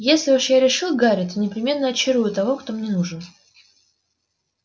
если уж я решил гарри то непременно очарую того кто мне нужен